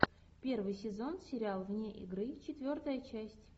первый сезон сериал вне игры четвертая часть